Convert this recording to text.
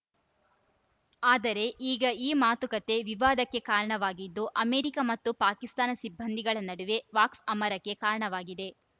ಆದರೆ ಈಗ ಈ ಮಾತುಕತೆ ವಿವಾದಕ್ಕೆ ಕಾರಣವಾಗಿದ್ದು ಅಮೆರಿಕ ಮತ್ತು ಪಾಕಿಸ್ತಾನ ಸಿಬ್ಬಂದಿಗಳ ನಡುವೆ ವಾಕ್ಸಮರಕ್ಕೆ ಕಾರಣವಾಗಿದೆ